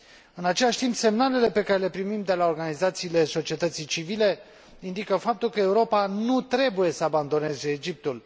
În același timp, semnalele pe care le primim de la organizațiile societății civile indică faptul că Europa nu trebuie să abandoneze Egiptul.